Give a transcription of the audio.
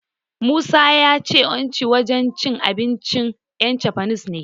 Musa ya ce Uchi wajen cin abincin 'yan Jafan ne.